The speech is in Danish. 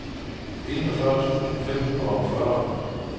enogfyrre tusind fem hundrede og fyrre